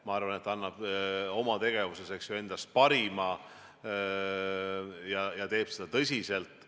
Ma arvan, et ta annab oma tegevuses endast parima ja teeb seda tõsiselt.